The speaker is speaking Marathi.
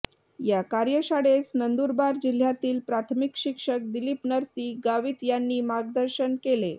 या कार्यशाळेस नंदूरबार जिल्ह्यातील प्राथमिक शिक्षक दिलीप नरसी गावीत यांनी मार्गदर्शन केले